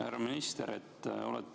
Härra minister!